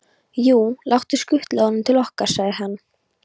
Jú, láttu skutla honum til okkar, sagði hann.